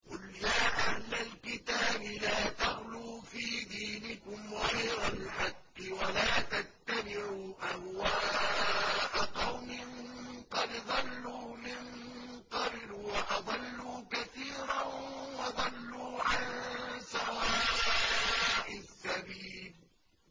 قُلْ يَا أَهْلَ الْكِتَابِ لَا تَغْلُوا فِي دِينِكُمْ غَيْرَ الْحَقِّ وَلَا تَتَّبِعُوا أَهْوَاءَ قَوْمٍ قَدْ ضَلُّوا مِن قَبْلُ وَأَضَلُّوا كَثِيرًا وَضَلُّوا عَن سَوَاءِ السَّبِيلِ